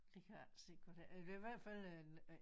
Det kan jeg ikke se hvad det det i hvert fald en øh